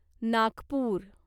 Nagpur